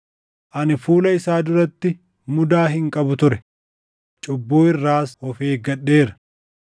Ani fuula isaa duratti mudaa hin qabu ture; cubbuu irraas of eeggadheera.